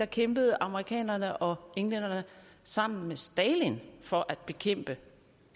kæmpede amerikanerne og englænderne sammen med stalin for at bekæmpe